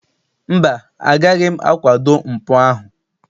Mba, agaghị m akwado mpụ ahụ.